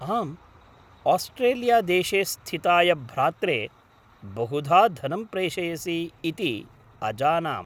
आम्, आस्ट्रेलियादेशे स्थिताय भ्रात्रे बहुधा धनं प्रेषयसि इति अजानाम्।